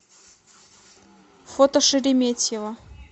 фото шереметьево